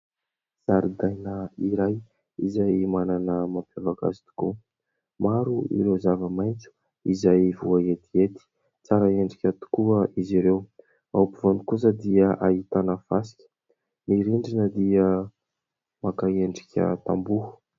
Zaridaina iray izay manana ny mampiavaka azy tokoa. Maro ireo zava-maitso izay voaetiety , tsara endrika tokoa izy ireo ; ao ampovoany kosa dia ahitana fasika ; ny rindrina dia maka endrika tamboho.